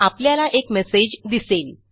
आपल्याला एक मेसेज दिसेल